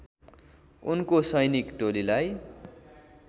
उनको सैनिक टोलीलाई